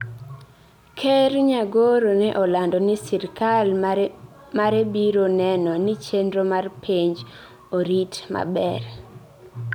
Ker Nyagoro ne olando ni sirkal mare biro neno ni chenro mar penj orit maber.